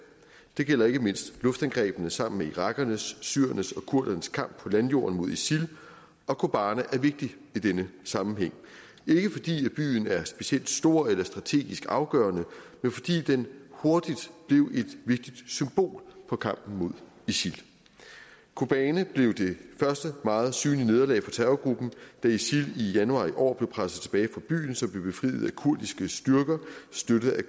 det gælder ikke mindst luftangrebene sammen med irakernes syrernes og kurdernes kamp på landjorden mod isil og kobane er vigtig i denne sammenhæng ikke fordi byen er specielt stor eller strategisk afgørende men fordi den hurtigt blev et vigtigt symbol på kampen mod isil kobane blev det første meget synlige nederlag for terrorgruppen da isil i januar i år blev presset tilbage fra byen som blev befriet af kurdiske styrker støttet af